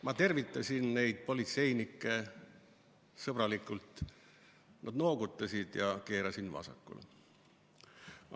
Ma tervitasin neid politseinikke sõbralikult, nad noogutasid ja keerasin vasakule.